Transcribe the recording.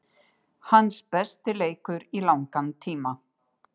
Hans besti leikur í langan tíma.